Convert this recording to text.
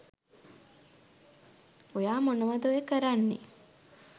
ඔයා මොනවද ඔය කරන්නේ